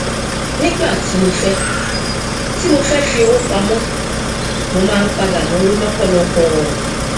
nígbà tí mo fẹ tí mo fẹ fi owó pamọ mo máa ń padà náwó lọpọlọpọ